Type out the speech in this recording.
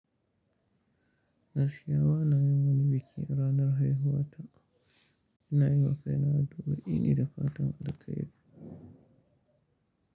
Gaskiya bana yin wani biki ranar haihuwa ta. Ina yi wa kai na addu'o'i ne da fatan alkhairi.